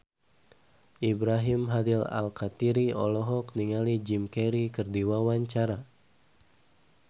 Ibrahim Khalil Alkatiri olohok ningali Jim Carey keur diwawancara